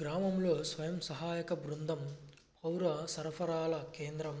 గ్రామంలో స్వయం సహాయక బృందం పౌర సరఫరాల కేంద్రం